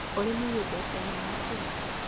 ũrĩmi wĩ mbeca nyingĩ.